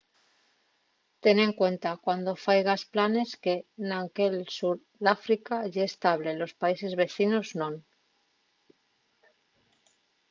ten en cuenta cuando faigas planes que anque'l sur d'áfrica ye estable los países vecinos non